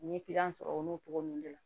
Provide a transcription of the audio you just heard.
N ye sɔrɔ olu cogo ninnu de la